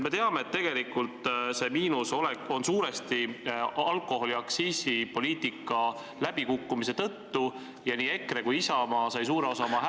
Me teame, et see miinus on suurel määral tekkinud alkoholiaktsiisipoliitika läbikukkumise tõttu ja nii EKRE kui Isamaa said suure osa oma hääli ...